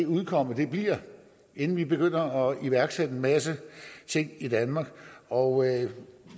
udkommet af det bliver inden vi begynder at iværksætte en masse ting i danmark og